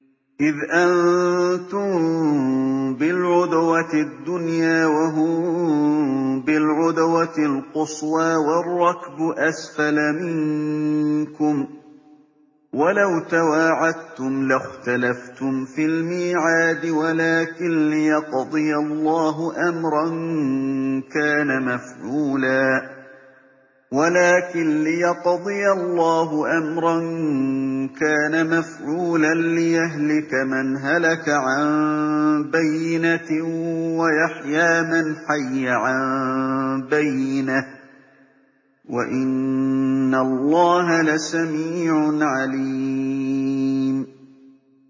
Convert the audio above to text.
إِذْ أَنتُم بِالْعُدْوَةِ الدُّنْيَا وَهُم بِالْعُدْوَةِ الْقُصْوَىٰ وَالرَّكْبُ أَسْفَلَ مِنكُمْ ۚ وَلَوْ تَوَاعَدتُّمْ لَاخْتَلَفْتُمْ فِي الْمِيعَادِ ۙ وَلَٰكِن لِّيَقْضِيَ اللَّهُ أَمْرًا كَانَ مَفْعُولًا لِّيَهْلِكَ مَنْ هَلَكَ عَن بَيِّنَةٍ وَيَحْيَىٰ مَنْ حَيَّ عَن بَيِّنَةٍ ۗ وَإِنَّ اللَّهَ لَسَمِيعٌ عَلِيمٌ